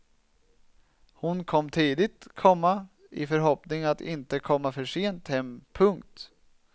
Hon kom tidigt, komma i förhoppning att inte komma för sent hem. punkt